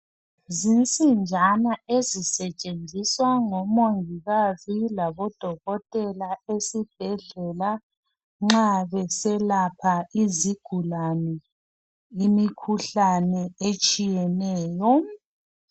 zinsinjana ezisetshenziswa ngo mongikazi labo dokotela esibhedlela nxa beselapha izigulane imikhuhlane etshiyeneyo